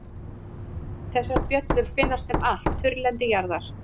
Þessar bjöllur finnast um allt þurrlendi jarðar.